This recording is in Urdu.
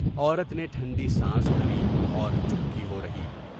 عورت نے ٹھنڈی سانس بھری اور چپکی ہو رہی۔